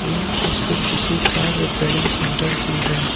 यह तस्वीर किसी कार रिपेयरिंग सेंटर की है।